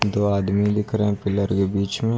दो आदमी दिख रहे पिलर के बीच में।